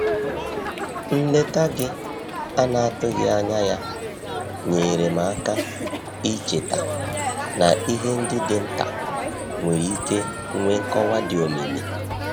Nleta gị ana-atụghị anya ya nyeere m aka icheta na ihe ndi dị nta nwere ike nwee nkọwa di omimi.